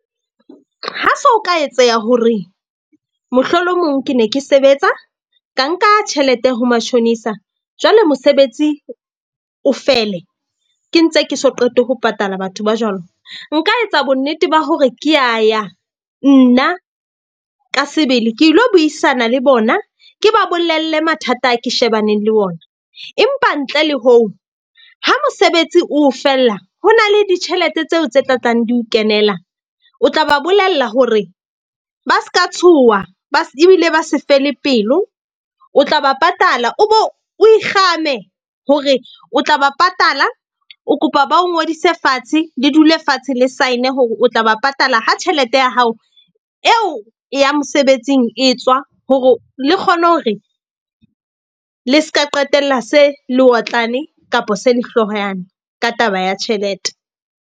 Ha so ka etseha hore mohlolomong ke ne ke sebetsa, ka nka tjhelete ho matjhonisa jwale mosebetsi o fele ke ntse ke so qete ho patala batho ba jwalo. Nka etsa bonnete ba hore ke a ya nna ka sebele ke lo buisana le bona, ke ba bolelle mathata a ke shebaneng le ona. Empa ntle le hoo, ha mosebetsi o fella ho na le ditjhelete tseo tse tla tlang di o kenela. O tla ba bolella hore ba ska tshoha ba ebile ba se fele pelo, o tla ba patala. O bo o ikgame hore o tla ba patala, o kopa ba o ngodise fatshe, le dule fatshe le sign-e hore o tla ba patala ha tjhelete ya hao eo ya mosebetsing e tswa. Hore le kgone hore le seka qetella se le otlane kapa se lehloyane ka taba ya tjhelete.